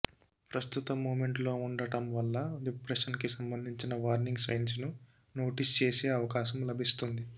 ప్రస్తుత మూమెంట్ లో ఉండటం వల్ల డిప్రెషన్ కి సంబంధించిన వార్నింగ్ సైన్స్ ను నోటిస్ చేసే అవకాశం లభిస్తుంది